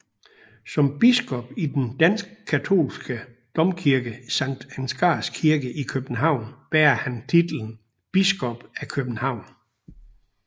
Som biskop i den danske katolske domkirke Sankt Ansgars Kirke i København bærer han titlen Biskop af København